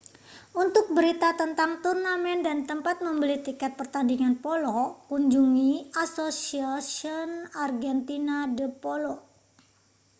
untuk berita tentang turnamen dan tempat membeli tiket pertandingan polo kunjungi asociacion argentina de polo